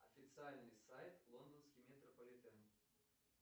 официальный сайт лондонский метрополитен